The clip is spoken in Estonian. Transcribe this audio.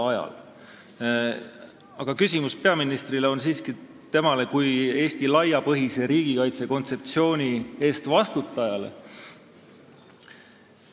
Aga küsimused peaministrile on esitatud temale kui Eesti laiapõhjalise riigikaitse kontseptsiooni eest vastutajale.